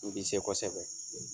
U bi se kosɛbɛ.